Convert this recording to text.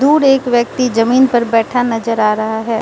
दूर एक व्यक्ति जमीन पर बैठा नजर आ रहा है।